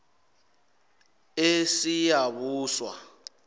esiyabuswa